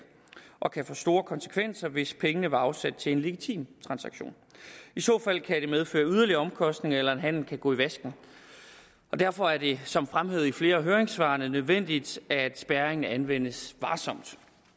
og kan få store konsekvenser hvis pengene var afsat til en legitim transaktion i så fald kan det medføre yderligere omkostninger eller en handel kan gå i vasken og derfor er det som fremhævet i flere af høringssvarene nødvendigt at spærring anvendes varsomt